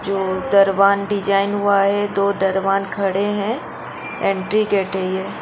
जो दरवान डिजाइन हुआ है दो दरवान खड़े हैं एंट्री गेट है ये --